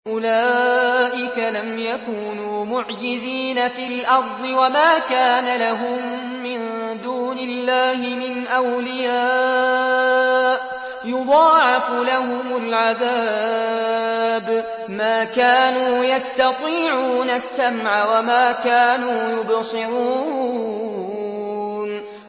أُولَٰئِكَ لَمْ يَكُونُوا مُعْجِزِينَ فِي الْأَرْضِ وَمَا كَانَ لَهُم مِّن دُونِ اللَّهِ مِنْ أَوْلِيَاءَ ۘ يُضَاعَفُ لَهُمُ الْعَذَابُ ۚ مَا كَانُوا يَسْتَطِيعُونَ السَّمْعَ وَمَا كَانُوا يُبْصِرُونَ